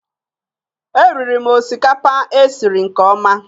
Eriri m osikapa e siri nke ọma